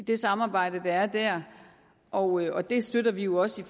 det samarbejde der er der og og det støtter vi jo også